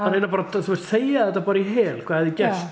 reyna bara þegja þetta bara í hel hvað hefði gerst